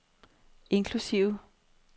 inklusive